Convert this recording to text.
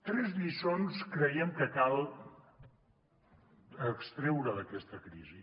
tres lliçons creiem que cal extreure d’aquesta crisi